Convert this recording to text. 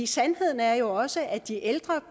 sandheden er jo også at de ældre